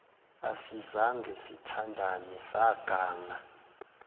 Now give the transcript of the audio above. asizange sithandane saganga